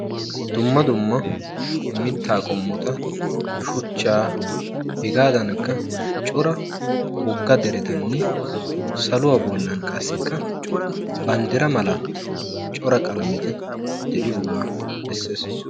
Dumma dumma mittaa qommota; shuchchaa; hegadankka cora Wogga deretanne saluwa bollan qassikka banddira mala cora qalameti diyoga bessees.